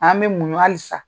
An be muɲ hali sa.